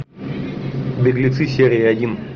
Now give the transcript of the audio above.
беглецы серия один